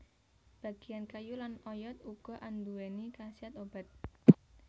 Bagian kayu lan oyot uga anduwèni khasiat obat